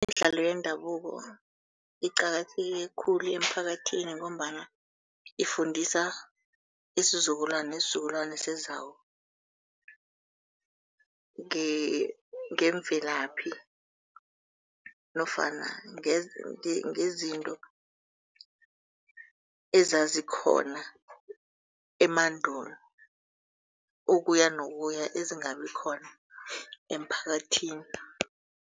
Imidlalo yendabuko iqakatheke khulu emphakathini ngombana ifundisa isizukulwana nesizukulwana esizako ngemvelaphi nofana ngezinto ezazikhona emandulo, ukuyanokuya ezingabi khona emphakathini.